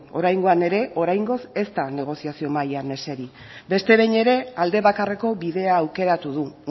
oraingoan ere oraingoz ez da negoziazio mailan eseri beste behin ere aldebakarreko bidea aukeratu du